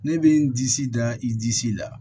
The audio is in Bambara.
Ne bɛ n disi da i disi la